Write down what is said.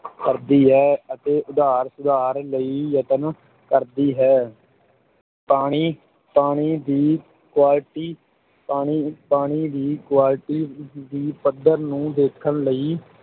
ਕਰਦੀ ਹੈ ਅਤੇ ਉਧਾਰ ਸੁਧਾਰ ਲਈ ਯਤਨ ਕਰਦੀ ਹੈ ਪਾਣੀ ਪਾਣੀ ਦੀ quality ਪਾਣੀ ਪਾਣੀ ਦੀ quality ਦੀ ਪੱਧਰ ਨੂੰ ਦੇਖਣ ਲਈ